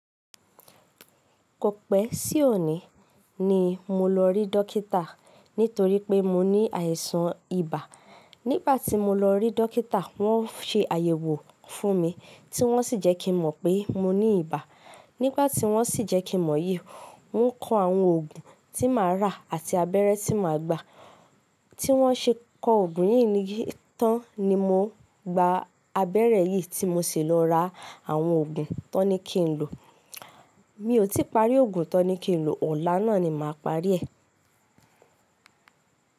Kò pẹ́ sí òní ni mo lọ rí dọ́kítà nítorí pé mo ní àìsàn ibà. Nígbà tí mo lọ rí dọ́kítà, wọ́n ṣe àyẹ̀wò fún mi tí wọ́n sì jẹ́ kí mọ̀ pé mo ní ibà. Nígbà tí wọ́n sì jẹ́ kí mọ̀ yìí, wọ́n kọ àwọn òògùn tí màá rà àti abẹ́rẹ́ tí màá gbà. Tí wọ́n ṣe kọ òògùn yìí ni tán ni mo gba abẹ́rẹ́ yìí tí mo sì lọ ra àwọn òògùn tí wọ́n ní kí n lò. Mi ò tí ì parí òògùn to ní kí n lò, ọ̀la náà ni màá parí ẹ̀.